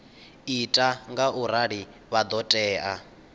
ita ngaurali vha ḓo tea